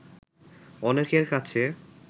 অনেকের কাছে